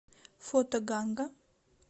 фото ганга